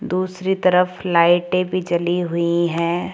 दूसरी तरफ लाइटें भी जली हुई हैं।